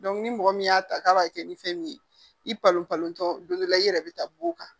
ni mɔgɔ min y'a ta k'a b'a kɛ ni fɛn min ye i balon palon tɔ don dɔ la i yɛrɛ bɛ taa b'o kan